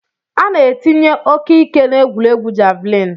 Ana etinye ike-ike na egwuregwu javlin.